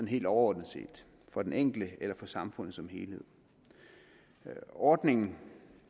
helt overordnet set for den enkelte eller for samfundet som helhed ordningen